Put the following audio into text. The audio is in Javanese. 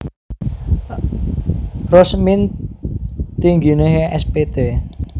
Rosmin Tingginehe S Pt